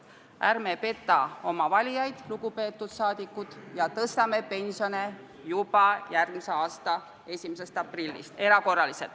Ärme petame oma valijaid, lugupeetud rahvasaadikud, ja tõstame erakorraliselt pensione juba järgmise aasta 1. aprillist.